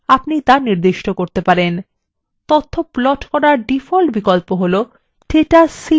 তথ্য প্লট করার ডিফল্ট বিকল্প হলো data series in columns